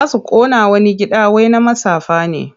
Za su ƙona wani gida wai na matsafa ne.